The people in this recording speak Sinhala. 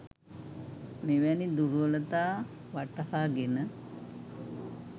මෙවැනි දුර්වලතා වටහාගෙන